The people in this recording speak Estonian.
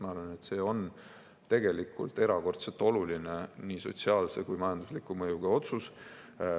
Ma arvan, et see on tegelikult erakordselt oluline nii sotsiaalse kui majandusliku mõjuga otsus.